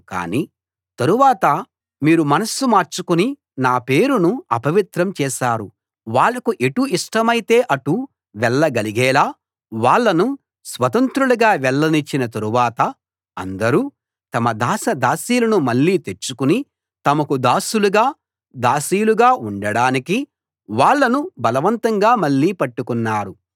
కాని తరువాత మీరు మనస్సు మార్చుకుని నా పేరును అపవిత్రం చేశారు వాళ్ళకు ఎటు ఇష్టమైతే అటు వెళ్ళగలిగేలా వాళ్ళను స్వతంత్రులుగా వెళ్ళనిచ్చిన తరువాత అందరూ తమ దాసదాసీలను మళ్ళీ తెచ్చుకుని తమకు దాసులుగా దాసీలుగా ఉండడానికి వాళ్ళను బలవంతంగా మళ్ళీ పట్టుకున్నారు